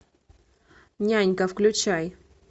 нянька включай